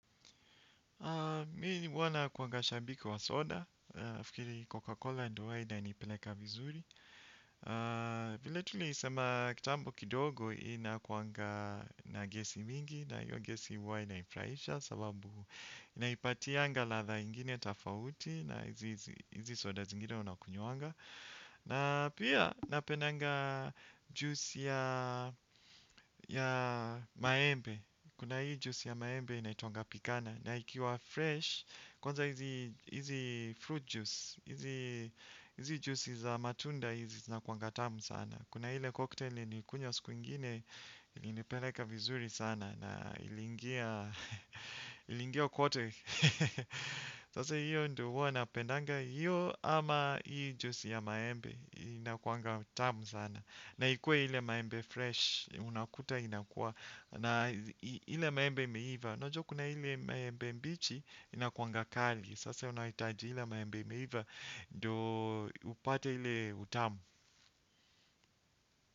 Mi huwa nakuanga shabiki wa soda, nafikiri Coca-Cola ndo huwa inanipeleka vizuri. Vile tulisema kitambo kidogo inakuanga na gesi mingi na iyo gesi huwa inaifraisha sababu inaipatianga latha ingine tafauti na hizi soda zingine unakunywanga. Na pia napendanga juisi ya maembe. Kuna hii juisi ya maembe inaitwanga pikana. Na ikiwa fresh kwanza hizi fruit juice. Hizi juice za matunda hizi zinakuanga tamu sana. Kuna ile cocktail nilikunywa siku ingine. Inipeleka vizuri sana. Na ilingia. Ilingia kote. Sasa hiyo ndio huwa napendanga. Hiyo ama hii juice ya maembe inakuanga tamu sana. Na ikue ile maembe fresh unakuta inakua na ile maembe imeiva, unajua kuna ile maembe mbichi inakuwanga kali. Sasa unahitaji ile maembe imeiva, ndoo upate ile utamu.